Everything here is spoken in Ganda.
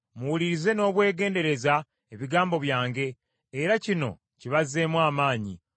“Muwulirize n’obwegendereza ebigambo byange, era kino kibazzeemu amaanyi.